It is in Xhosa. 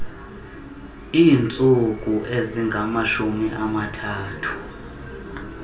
iintsuku ezingamashumi amathathu